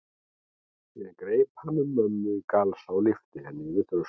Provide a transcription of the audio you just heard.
Síðan greip hann um mömmu í galsa og lyfti henni yfir þröskuldinn.